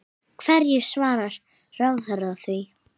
Hverju svarar ráðherra því?